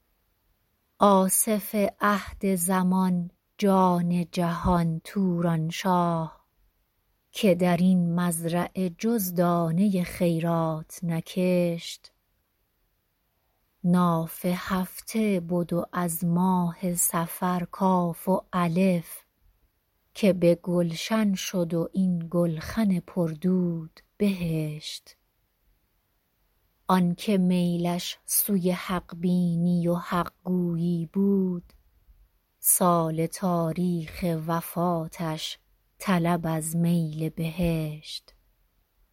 آصف عهد زمان جان جهان تورانشاه که در این مزرعه جز دانه خیرات نکشت ناف هفته بد و از ماه صفر کاف و الف که به گلشن شد و این گلخن پر دود بهشت آنکه میلش سوی حق بینی و حق گویی بود سال تاریخ وفاتش طلب از میل بهشت